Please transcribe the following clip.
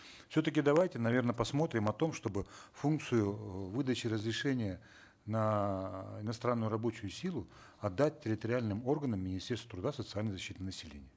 все таки давайте наверно посмотрим о том чтобы функцию эээ выдачи разрешения на иностранную рабочую силу отдать территориальным органам министерства труда и социальной защиты населения